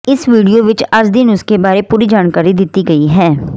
ਇਸ ਵੀਡੀਓ ਵਿੱਚ ਅੱਜ ਦੇ ਨੁਸ਼ਖੇ ਬਾਰੇ ਪੂਰੀ ਜਾਣਕਾਰੀ ਦਿਤੀ ਗਈ ਹੈ